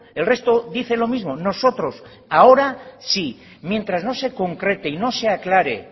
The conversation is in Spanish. el resto dice lo mismo nosotros ahora sí mientras no se concrete y no se aclare